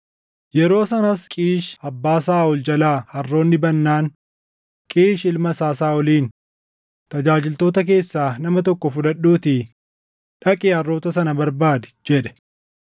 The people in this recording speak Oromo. Yeroo sanas Qiish abbaa Saaʼol jalaa harroonni badnaan, Qiish ilma isaa Saaʼoliin, “Tajaajiltoota keessaa nama tokko fudhadhuutii dhaqii harroota sana barbaadi” jedhe.